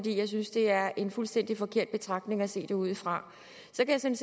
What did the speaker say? jeg synes det er en fuldstændig forkert betragtning at se det ud fra så kan